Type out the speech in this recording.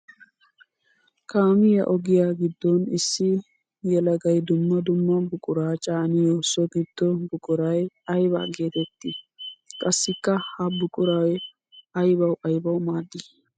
Kaamiya ogiya giddon issi yelagay dumma dumma buqura caaniyo so gido buquray ayba geetetti? Qassikka ha buquray aybawu aybawu maaddi?